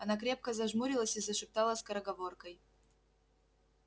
она крепко зажмурилась и зашептала скороговоркой